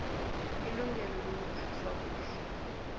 ilungelo lokuphathwa kuhle